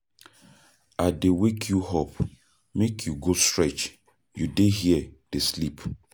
I dey wake you up make you go stretch you dey here dey sleep